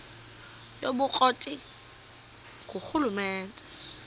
yobukro ti ngurhulumente